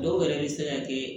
Dɔw yɛrɛ bɛ se ka kɛ